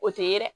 O tɛ ye yɛrɛ